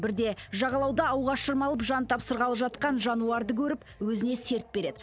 бірде жағалауда ауға шырмалып жан тапсырғалы жатқан жануарды көріп өзіне серт береді